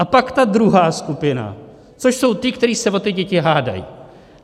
A pak ta druhá skupina, což jsou ti, kteří se o ty děti hádají.